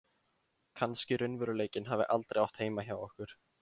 Kannski raunveruleikinn hafi aldrei átt heima hjá okkur.